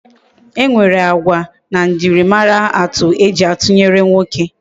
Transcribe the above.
E nwere agwa na ejimara atu eji atunyere nwoke. E